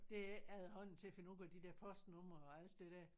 Det er ikke efterhånden til at finde ud af de der postnumre og alt det der